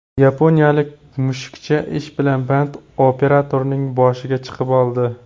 Yaponiyalik mushukcha ish bilan band operatorning boshiga chiqib oldi .